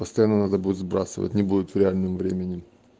постоянно надо будет сбрасывать не будет в реальном времени